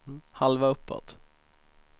halva uppåt